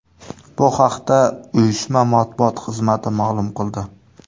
Bu haqda uyushma matbuot xizmati ma’lum qildi .